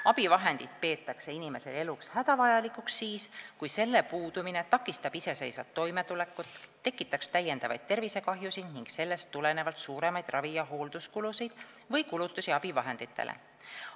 Abivahendit peetakse inimese eluks hädavajalikuks siis, kui selle puudumine takistab iseseisvat toimetulekut ja tekitab täiendavaid tervisekahjusid ning sellest tulenevalt suuremaid ravi- ja hoolduskulusid või kulutusi abivahenditele.